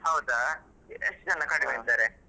ಹೌದಾ. ಎಷ್ಟು ಜನ ಇದ್ದಾರೆ?